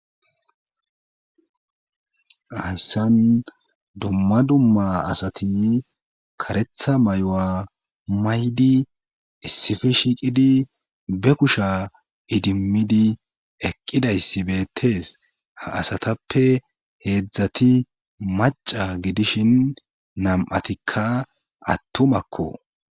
Hayssan dumma dumma asati karetha may7oa maydi issife shiiqidi be kusha idimmidi eqqidayssi beettees ha asatappe heedzdzati maca gidishin nam7atikka attumakko